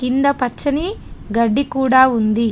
కింద పచ్చని గడ్డి కూడా ఉంది.